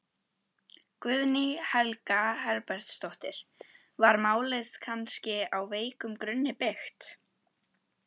Guðný Helga Herbertsdóttir: Var málið kannski á veikum grunni byggt?